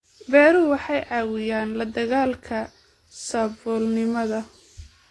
Beeruhu waxay caawiyaan la dagaalanka saboolnimada.